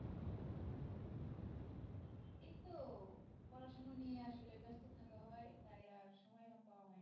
এই তো পড়াশুনো নিয়ে আসলে ব্যাস্ত থাকা হয় তাই আর সময় পাওয়া হয় না।